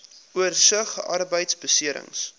oorsig arbeidbeserings